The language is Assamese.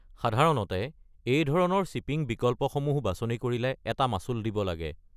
সাধাৰণতে, এই ধৰণৰ শ্বিপিং বিকল্পসমূহ বাছনি কৰিলে এটা মাচুল দিব লাগে।